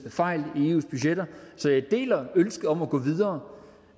fejl i eus budgetter så jeg deler ønsket om at gå videre